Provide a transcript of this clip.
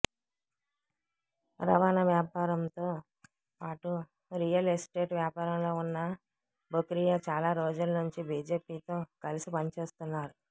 రవాణా వ్యాపారంతో పాటు రియల్ ఎస్టేట్ వ్యాపారంలో ఉన్న బొకిరియా చాలా రోజుల నుండి బీజేపీతో కలిసి పనిచేస్తున్నారు